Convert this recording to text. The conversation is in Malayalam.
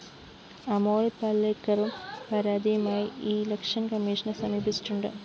അമോല്‍ പലേക്കറും പരാതിയുമായി ഇലക്ഷന്‍കമ്മീഷനെ സമീപിച്ചിട്ടുണ്ട്‌